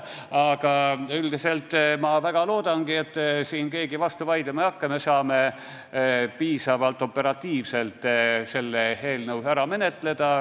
Aga üldiselt ma väga loodan, et siin keegi vastu vaidlema ei hakka ja me saame piisavalt operatiivselt selle eelnõu ära menetleda.